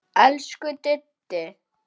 Elsku Diddi.